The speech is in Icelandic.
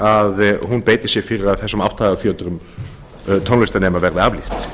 að hún beiti sér fyrir að þessum átthagafjötrum tónlistarnemenda verði aflétt